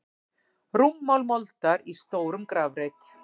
Rúmmál moldar í stórum grafreit.